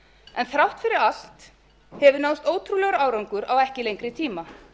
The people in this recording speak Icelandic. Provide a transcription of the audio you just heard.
en þrátt fyrir allt hefur náðst ótrúlegur árangur á ekki lengri tíma